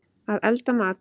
Að elda mat.